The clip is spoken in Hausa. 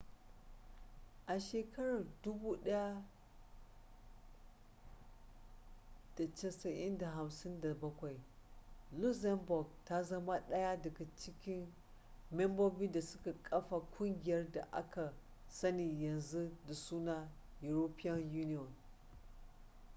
a shekarar 1957 luxembourg ta zama ɗaya daga membobin da suka kafa ƙungiyar da aka sani yanzu da suna european union